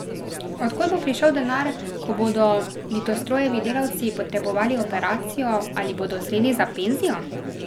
Od kod bo prišel denar, ko bodo Litostrojevi delavci potrebovali operacijo ali bodo zreli za penzijo?